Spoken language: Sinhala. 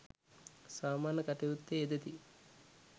සාමාන්‍ය කටයුත්තේ යෙදෙති.